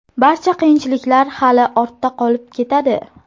Barcha qiyinchiliklar hali ortda qolib ketadi.